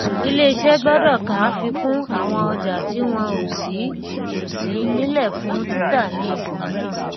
ilé iṣẹ́ gbọ́dọ̀ ka afikún àwọn ọjà tí wọn o sí o sí nílè fún títà ní ibòmíràn